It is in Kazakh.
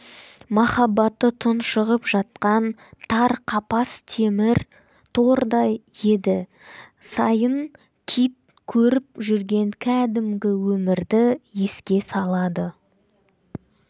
махаббаты тұншығып жатқан тар қапас темір тордай еді сайын кит көріп жүрген кәдімгі өмірді еске салады